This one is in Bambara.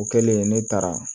O kɛlen ne taara